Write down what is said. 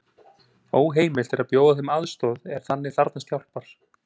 Óheimilt er að bjóða þeim aðstoð er þannig þarfnast hjálpar.